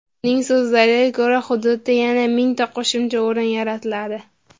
Uning so‘zlariga ko‘ra, hududda yana mingta qo‘shimcha o‘rin yaratiladi.